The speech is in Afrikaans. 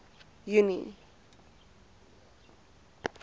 junie